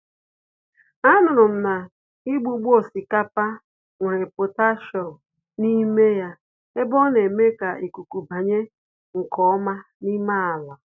A nụrụm na igbugbo osikapa nwere potassium n'ime ya, ebe oneme ka ikuku banye nke ọma n'ime àlà.